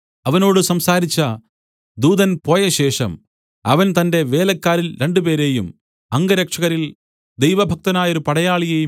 അവനോട് സംസാരിച്ച ദൂതൻ പോയശേഷം അവൻ തന്റെ വേലക്കാരിൽ രണ്ടുപേരെയും അംഗരക്ഷകരിൽ ദൈവഭക്തനായൊരു പടയാളിയേയും